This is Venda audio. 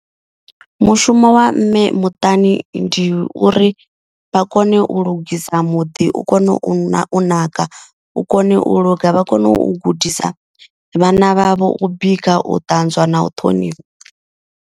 Mushumo wa mme muṱani ndi uri vha kone u lugisa muḓi u kone u na u naka. U kone u luga vha kone u gudisa vhana vhavho u bika, u ṱanzwa na u ṱhonifha.